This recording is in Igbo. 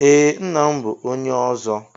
Ee ńnà m bụ ónyé ọzọ.